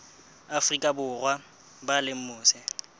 afrika borwa ba leng mose